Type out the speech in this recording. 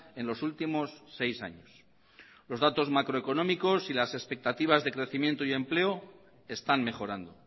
en los últimos seis años los datos macroeconómicos y las expectativas de crecimiento y empleo están mejorando